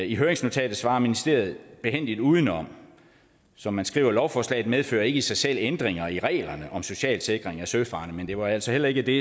i høringsnotatet svarer ministeriet behændigt udenom som man skriver lovforslaget medfører ikke i sig selv ændringer i reglerne om socialsikring af søfarende men det var altså heller ikke det